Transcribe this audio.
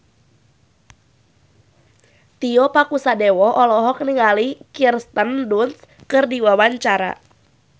Tio Pakusadewo olohok ningali Kirsten Dunst keur diwawancara